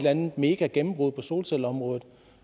andet megagennembrud på solcelleområdet